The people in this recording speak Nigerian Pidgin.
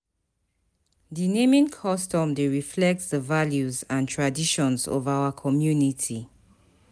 Di naming custom dey reflect di values and traditions of our community.